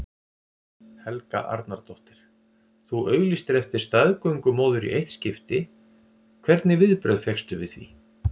Helga Arnardóttir: Þú auglýstir eftir staðgöngumóður í eitt skipti, hvernig viðbrögð fékkstu við því?